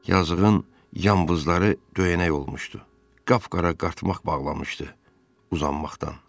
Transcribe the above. Yazığın yambızları döyənək olmuşdu, qapqara qartmaq bağlamışdı uzanmaqdan.